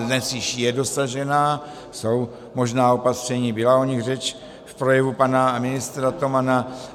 Dnes již je dosažena, jsou možná opatření, byla o nich řeč v projevu pana ministra Tomana.